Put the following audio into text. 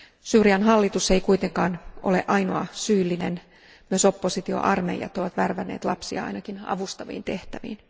Syyrian hallitus ei kuitenkaan ole ainoa syyllinen, myös oppositioarmeijat ovat värvänneet lapsia ainakin avustaviin tehtäviin.